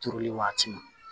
Turuli waati ma